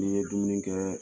Ne ye dumuni kɛ